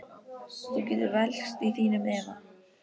Þú getur velkst í þínum efa.